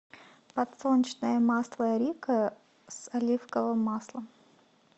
подсолнечное масло рикко с оливковым маслом